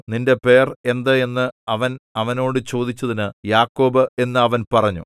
നിന്റെ പേർ എന്ത് എന്ന് അവൻ അവനോട് ചോദിച്ചതിന് യാക്കോബ് എന്ന് അവൻ പറഞ്ഞു